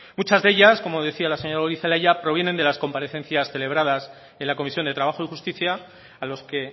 muchas de ellas como decía la señora goirizelaia provienen de las comparecencias celebradas en la comisión de trabajo y justicia a los que